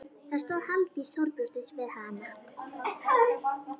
Það stóð Halldís Þorbjörnsdóttir við hana.